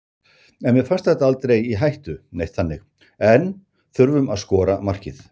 En mér fannst þetta aldrei í hættu neitt þannig en þurftum að skora markið.